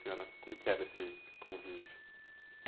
A senhora, como é que era esse, esse convívio?